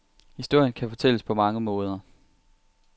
Historien kan fortælles på mange måder.